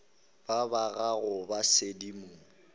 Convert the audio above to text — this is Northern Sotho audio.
ba ba gago ba sedimo